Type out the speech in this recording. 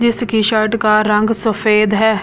जिसकी शर्ट का रंग सफेद है।